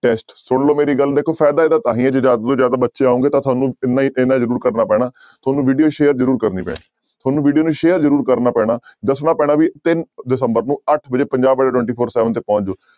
Test ਸੁਣ ਲਓ ਮੇਰੀ ਗੱਲ ਦੇਖੋ ਫ਼ਾਇਦਾ ਇਹਦਾ ਤਾਂ ਹੀ ਹੈ ਜੇ ਜ਼ਿਆਦਾ ਤੋਂ ਜ਼ਿਆਦਾ ਬੱਚੇ ਆਓਗੇ ਤਾਂ ਤੁਹਾਨੂੰ ਇੰਨਾ ਹੀ ਇੰਨਾ ਜ਼ਰੂਰ ਕਰਨਾ ਪੈਣਾ ਤੁਹਾਨੂੰ video share ਜ਼ਰੂਰ ਕਰਨੀ ਪੈਣੀ, ਤੁਹਾਨੂੰ video ਨੂੰ share ਜ਼ਰੂਰ ਕਰਨਾ ਪੈਣਾ ਦੱਸਣਾ ਪੈਣਾ ਵੀ ਤਿੰਨ ਦਸੰਬਰ ਨੂੰ ਅੱਠ ਵਜੇ ਪੰਜਾਬ ਅੱਡਾ twenty four seven ਤੇ ਪਹੁੰਚ ਜਾਇਓ